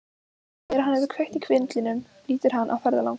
Þegar hann hefur kveikt í vindlinum lítur hann á ferðalang.